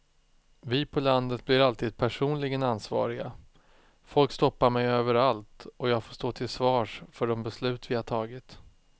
Vi på landet blir alltid personligen ansvariga, folk stoppar mig överallt och jag får stå till svars för de beslut vi har tagit.